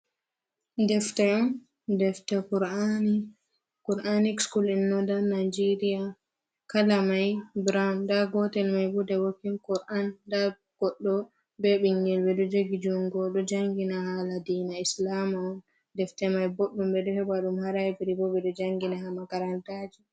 Defte on, defta kur'aani, kur'anik sikul in nodan nijeriya. Kala may burawun, ndaa gotel may bo de wokin kur’an .Ndaa goɗɗo be ɓinngel ,ɓe ɗo jogi junngo, o ɗo janngina haala dina islaama on. Defte may boɗɗum ɓe ɗo heɓa ɗum haa laybiri, bo ɓe ɗo janngina haa makarantaji.